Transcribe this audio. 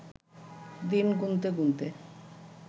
দিন গুনতে গুনতে